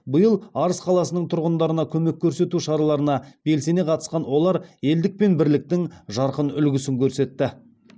биыл арыс қаласының тұрғындарына көмек көрсету шараларына белсене қатысқан олар елдік пен бірліктің жарқын үлгісін көрсетті